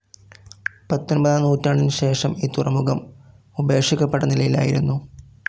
പത്തൊൻപതാം നൂറ്റാണ്ടിനുശേഷം ഈ തുറമുഖം ഉപേക്ഷിക്കപ്പെട്ട നിലയിലായിരുന്നു.